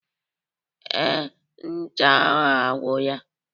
Ee, ncha ahụ agwụla